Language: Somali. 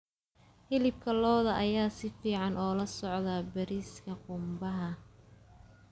Hilibka lo'da ayaa si fiican ula socda bariiska qumbaha.